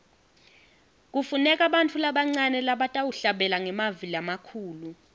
kufuneka bantfu labancane labatawuhlabela ngemavi lamakhulu